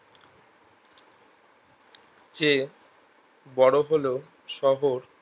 যে বড়ো হলেও শহর